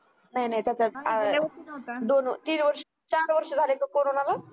दोन व तीन व चार वर्ष झाली का corona